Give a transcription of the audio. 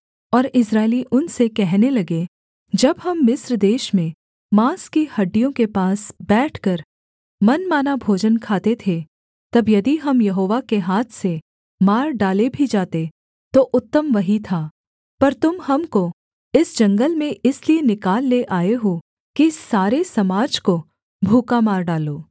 और इस्राएली उनसे कहने लगे जब हम मिस्र देश में माँस की हाँड़ियों के पास बैठकर मनमाना भोजन खाते थे तब यदि हम यहोवा के हाथ से मार डाले भी जाते तो उत्तम वही था पर तुम हमको इस जंगल में इसलिए निकाल ले आए हो कि इस सारे समाज को भूखा मार डालो